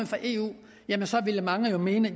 fra eu ville mange jo mene at